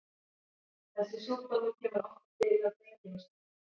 Þessi sjúkdómur kemur oftar fyrir hjá drengjum en stúlkum.